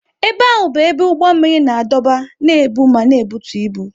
Ebe ahụ bụ ebe ụgbọ mmiri na-adọba, na-ebu ma na-ebutu ibu.